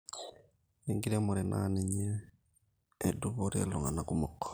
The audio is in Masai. ore enkiremore naa ninye edupore iltungana kumok